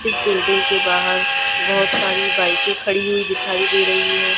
इस बिल्डिंग के बाहर बहोत सारी बाइके खड़ी हुई दिखाई दे रहीं हैं।